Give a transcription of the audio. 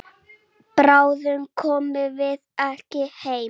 En bráðum komum við heim.